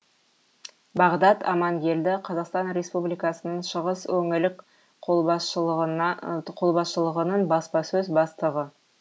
бағдат амангелді қазақстан республикасының шығыс өңілік қолбасшылығының баспасөз бастығы